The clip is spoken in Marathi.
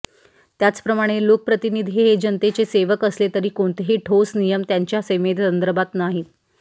त्याचप्रमाणे लोकप्रतिनिधी हे जनतेचे सेवक असले तरी कोणतेही ठोस नियम त्यांच्या सेवेसंदर्भात नाहीत